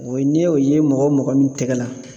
O ye n'i y'o ye mɔgɔ o mɔgɔ min tɛgɛ la